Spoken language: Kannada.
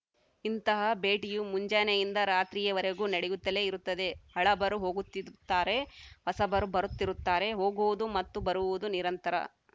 ಇಂಥ ಭೇಟಿಯು ಮುಂಜಾನೆಯಿಂದ ರಾತ್ರಿಯವರೆಗು ನಡೆಯುತ್ತಲೇ ಇರುತ್ತದೆ ಹಳಬರು ಹೋಗುತ್ತಿರುತ್ತಾರೆ ಹೊಸಬರು ಬರುತ್ತಿರುತ್ತಾರೆ ಹೋಗುವುದು ಮತ್ತು ಬರುವುದು ನಿರಂತರ